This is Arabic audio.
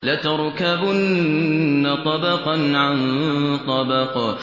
لَتَرْكَبُنَّ طَبَقًا عَن طَبَقٍ